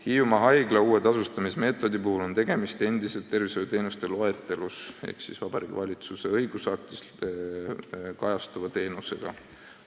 Hiiumaa haigla tasustamise uue meetodi puhul on tegemist endiselt tervishoiuteenuste loetelus ehk Vabariigi Valitsuse õigusaktis kirjas oleva teenusega.